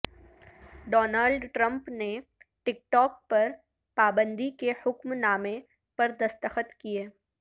Donald Trump نے TikTok پر پابندی کے حکم نامے پر دستخط کئے